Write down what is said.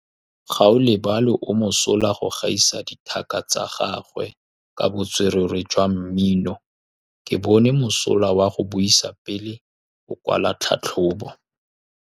Gaolebalwe o mosola go gaisa dithaka tsa gagwe ka botswerere jwa mmino. Ke bone mosola wa go buisa pele o kwala tlhatlhobô.